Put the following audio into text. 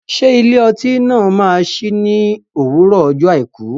Ṣé ilé ọtí náà máa sí ní òwúrọ̀ ọjọ́ àìkú?